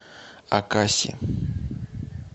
акаси